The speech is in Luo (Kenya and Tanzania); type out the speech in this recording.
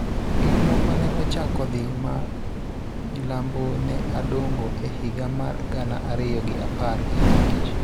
Gik moko ne ochako dhi ma milambo ne Adongo e higa mar gana ariyo gi apar gi abich